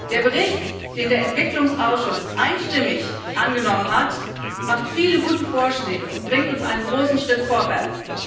Der Bericht, den der Entwicklungsausschuss einstimmig angenommen hat, enthält viele gute Vorschläge und bringt uns einen großen Schritt vorwärts.